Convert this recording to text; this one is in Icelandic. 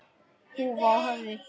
Húfa á höfði.